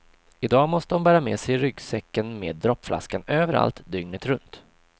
I dag måste hon bära med sig ryggsäcken med droppflaskan överallt, dygnet runt.